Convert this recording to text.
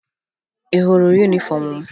Ị hụrụ yunifọmụ m?